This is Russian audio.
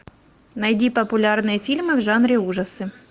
найди популярные фильмы в жанре ужасы